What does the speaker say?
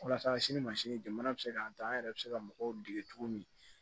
Walasa sini masini jamana bɛ se k'an ta an yɛrɛ bɛ se ka mɔgɔw dege cogo min